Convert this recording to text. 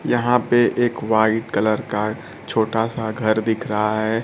यहां पे एक व्हाइट कलर का छोटा सा घर दिख रहा है।